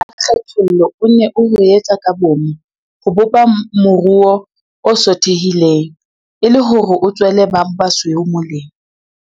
Mmuso wa kgethollo o ne o ho etse ka boomo ho bopa moruo o sothehileng, e le hore o tswele ba basweu molemo.